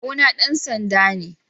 kawu na dansanda me.